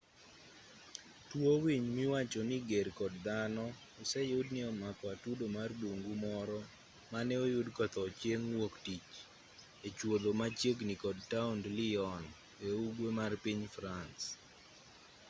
tuo winy miwacho ni ger kod dhano oseyud ni nomako atudo marbungu moro mane oyud kotho chieng' wuok tich echuodho machiegini kod taond lyon e ugwe mar piny france